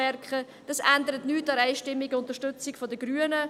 Diese ändern nichts an der einstimmigen Unterstützung der Grünen.